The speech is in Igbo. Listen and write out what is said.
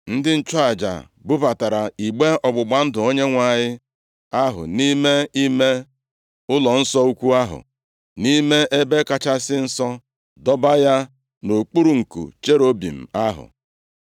Ndị nchụaja bubatara igbe ọgbụgba ndụ Onyenwe anyị ahụ nʼime ime ụlọnsọ ukwu ahụ, nʼime Ebe Kachasị Nsọ, dọba ya nʼokpuru nku cherubim ahụ.